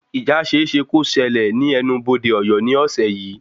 Ìjà ṣeéṣe kó ṣẹlẹ̀ ní ẹnu-bodé Ọ̀yọ́ ní ọ̀sẹ̀ yìí